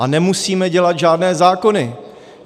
A nemusíme dělat žádné zákony.